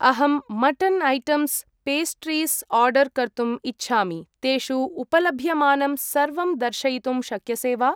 अहं mutton items ,pastries order कर्तुम् इच्छामि, तेषु उपलभ्यमानं सर्वं दर्शयितुं शक्यसे वा?